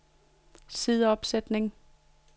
sideopsætning